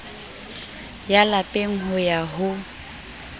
ya lapeng ho ya ho